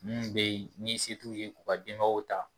Mun be yen ni se t'u ye k'u ka denbayaw ta